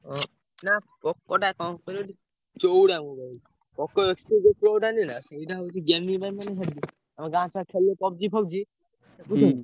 ଓ ନା POCO ଟା କଣ କହିଲୁ ଚଉଡ଼ା mobile POCO X three ଯୋଉ pro ଟା ନୁହେଁ ନା ସେଇଟା ହଉଚି gaming ପାଇଁ ମାନେ heavy ଆମ ଗାଁ ଛୁଆ ଖେଳିଲେ PUBG ଫବଜି।